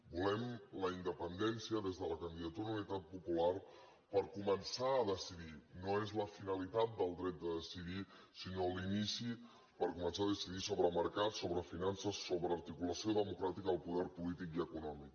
volem la independència des de la candidatura d’unitat popular per començar a decidir no és la finalitat del dret de decidir sinó l’inici per començar a decidir sobre mercats sobre finances sobre articulació democràtica del poder polític i econòmic